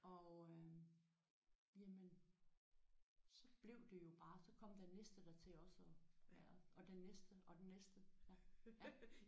Og øh jamen hun blev det jo bare så kom den næste der til også og være og den næste og den næste